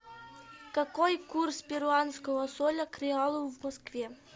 какой курс перуанского соля к реалу в москве